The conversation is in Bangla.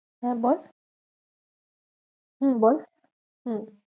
হ্যাঁ, বল হম বল হম